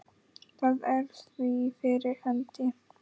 Það er því fyrir hendi.